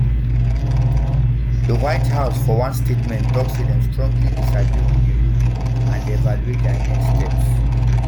di white house for one statement tok say dem strongly disagree wit di ruling and dey evaluate dia next steps